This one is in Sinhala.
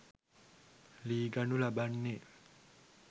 ලී ගනු ලබන්නේ